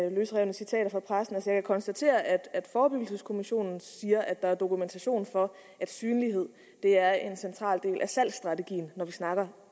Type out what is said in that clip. af løsrevne citater fra pressen jeg kan konstatere at forebyggelseskommissionen siger at der er dokumentation for at synlighed er en central del af selve strategien når vi snakker